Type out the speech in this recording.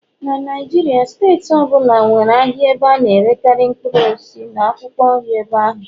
na Naijiria steeti ọ bụla nwere ahịa ebe a na-erekarị mkpụrụ osisi na akwụkwọ nri ebe ahụ.